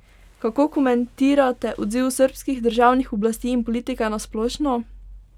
Kako komentirate odziv srbskih državnih oblasti in politike na splošno?